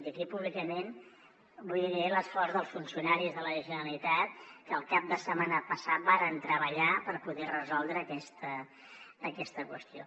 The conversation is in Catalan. i aquí públicament vull agrair l’esforç dels funcionaris de la generalitat que el cap de setmana passat varen treballar per poder resoldre aquesta qüestió